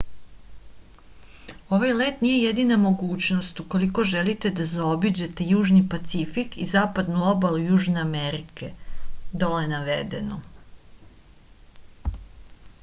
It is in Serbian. овај лет није једина могућност уколико желите да заобиђете јужни пацифик и западну обалу јужне америке. доле наведено